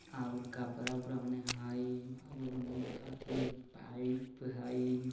और कपड़ा-वपड़ा उन्हें हई और उन्हें अथी एक पाइप हई।